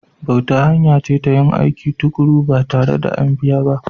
Bauta hanya ce ta yin aiki tuƙuru ba tare da an biya ba.